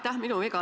Aitäh!